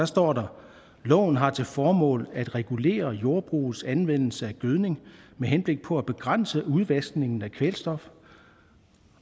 står der loven har til formål at regulere jordbrugets anvendelse af gødning med henblik på at begrænse udvaskningen af kvælstof